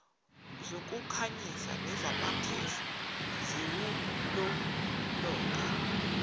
zokukhanyisa nezamakhefu ziwulolonga